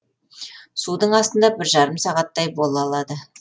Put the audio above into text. судың астында бір жарым сағаттай бола алады